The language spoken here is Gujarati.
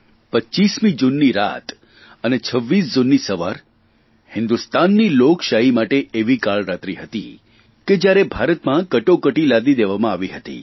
25મી જૂનની રાત અને 26મી જૂનની સવાર હિંદુસ્તાનની લોકશાહી માટે એવી કાળરાત્રી હતી કે જ્યારે ભારતમાં કટોકટી લાદી દેવામાં આવી હતી